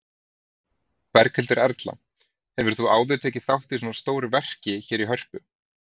Berghildur Erla: Hefur þú áður tekið þátt í svona stóru verki hér í Hörpu?